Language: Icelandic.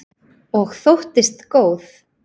Og þóttist góð.